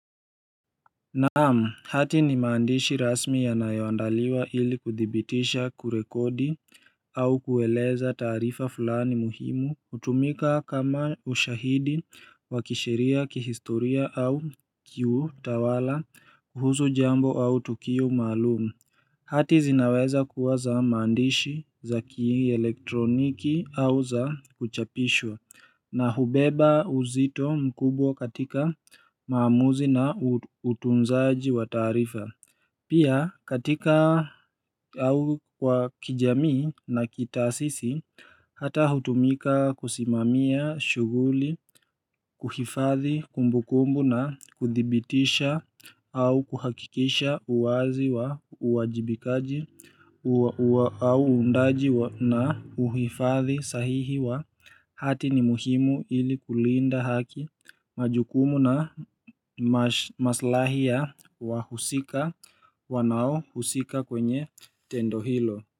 Naam hati ni maandishi rasmi ya nayoandaliwa ili kuthibitisha kurekodi au kueleza taarifa fulani muhimu utumika kama ushahidi wakisheria kihistoria au kiutawala kuhusu jambo au tukio maalumu hati zinaweza kuwa za mandishi za ki elektroniki au za kuchapishwa na hubeba uzito mkubwa katika maamuzi na utunzaji wa taarifa. Pia katika au kwa kijamii na kitaasisi hata hutumika kusimamia shuguli kuhifathi kumbukumbu na kuthibitisha au kuhakikisha uwazi wa uajibikaji au uundaji na uhifathi sahihi wa hati ni muhimu ili kulinda haki majukumu na maslahi ya wahusika wanaohusika kwenye tendo hilo.